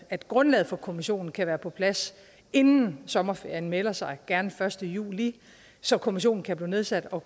at grundlaget for kommissionen kan være på plads inden sommerferien melder sig gerne den første juli så kommissionen kan blive nedsat og